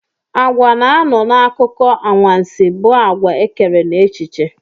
Àgwà na-anọ n'akụkọ anwansị bụ àgwà ekere n'echiche.